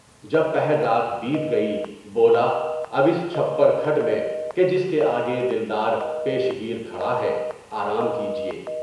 جب پہر رات بیت گئی، بولا اب اس چھپر کھٹ میں کہ جس کے آگے دلدار پیش گیر کھڑا ہے، آرام کیجیے۔